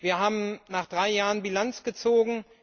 Wir haben nach drei Jahren Bilanz gezogen.